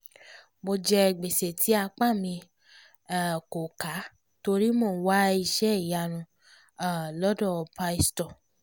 mo jẹ gbèsè tí apá mi um kò ká torí mò ń wá iṣẹ́ ìyanu um lọ́dọ̀ pásítọ̀